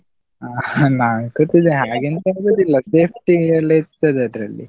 ಅಹ್ ನಾನ್ ಕೂತಿದ್ದೇನೆ ಹಾಗೆ ಎಂತ ಆಗುದಿಲ್ಲ, safety ಎಲ್ಲ ಇರ್ತದೆ ಅದ್ರಲ್ಲಿ.